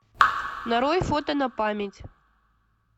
нарой фото на память